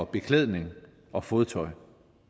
beklædning og fodtøj